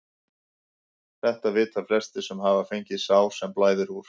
Þetta vita flestir sem hafa fengið sár sem blæðir úr.